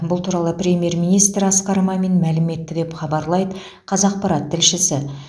бұл туралы премьер министр асқар мамин мәлім етті деп хабарлайды қазақпарат тілшісі